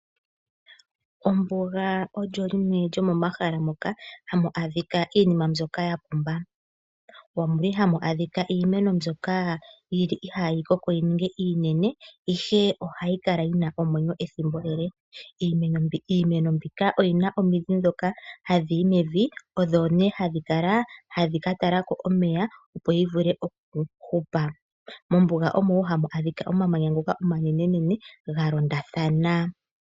Ombuga olyo limwe lyomomahala moka hamu adhika iinima mbyoka yapumba. Omuli hamu adhika iimeno mbyoka yili ihayi koko yininge iinene ihe ohayi kala yina omwenyo ethimbo ele. Iimeno mbika oyina omidhi dhoka hadhi yi mevi, odho ne hadhi kala hadhi katalako omeya opo yivule okuhupa. Mombuga omo wo hamu adhika omamanya ngoka omanene nene ga londathana.